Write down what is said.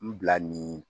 N bila nin